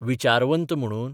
विचारवंत म्हणून?